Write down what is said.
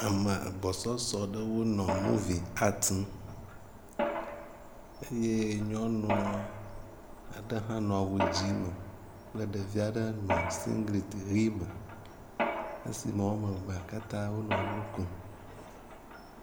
Ame agbɔsɔsɔ aɖe wo nɔ muvi atimu eye nyɔnu aɖe hã nɔ awu dzi me kple ɖevi aɖe nɔ singliti ʋi me esime wo ane evea katã wonɔ nu kom.